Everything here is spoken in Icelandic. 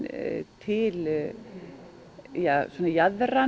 til